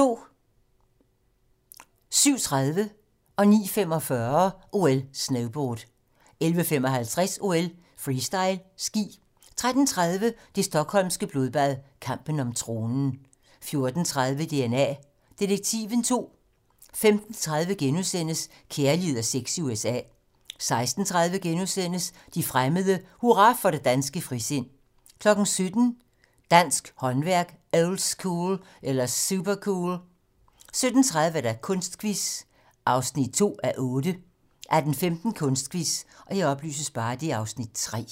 07:30: OL: Snowboard 09:45: OL: Snowboard 11:55: OL: Freestyle ski 13:30: Det stockholmske blodbad - kampen om tronen 14:30: DNA Detektiven II 15:30: Kærlighed og sex i USA * 16:30: De fremmede: Hurra for det danske frisind * 17:00: Dansk håndværk - oldschool eller supercool? 17:30: Kunstquiz (2:8) 18:15: Kunstquiz (Afs. 3)